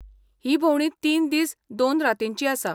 ही भोंवडी तीन दीस दोन रातींची आसा.